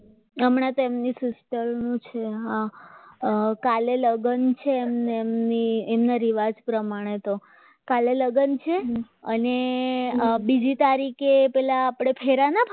હમણાં તેમની sister નું છે હા કાલે લગ્ન છે એમને એમના રિવાજ પ્રમાણે હતો કાલે લગ્ન છે અને બીજી તારીખે પહેલા આપણે ફેરા ના ફરે